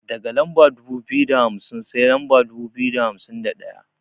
Daga lamba dubu biyu da hamsin sai lamba dubu biyu da hamsin da ɗaya.